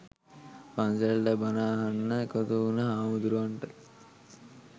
පන්සලට බණ අහන්න එකතු වුණු හාමුදුරුවන්ට